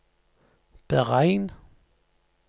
beregn